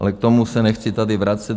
Ale k tomu se nechci tady vracet.